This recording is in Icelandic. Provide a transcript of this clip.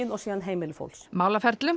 og síðan heimili fólks málaferlum